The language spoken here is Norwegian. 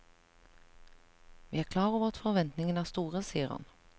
Vi er klar over at forventningene er store, sier han.